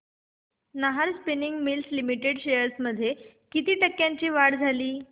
Nahar spinning mills limited shares मध्ये किती टक्क्यांची वाढ झाली